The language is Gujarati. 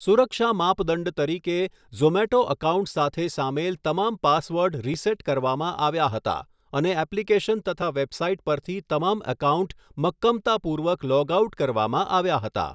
સુરક્ષા માપદંડ તરીકે, ઝોમેટો એકાઉન્ટ્સ સાથે સામેલ તમામ પાસવર્ડ રીસેટ કરવામાં આવ્યા હતા, અને એપ્લીકેશન તથા વેબસાઇટ પરથી તમામ એકાઉન્ટ મક્કમતાપૂર્વક લોગ આઉટ કરવામાં આવ્યા હતા.